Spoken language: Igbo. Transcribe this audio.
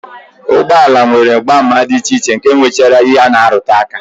Ụgbọala nwere mgbaàmà dị iche iche nke nwechara ihe ha na-arụtụ aka